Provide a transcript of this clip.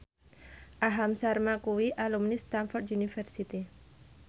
Aham Sharma kuwi alumni Stamford University